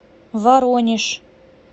воронеж